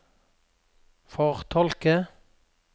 fortolke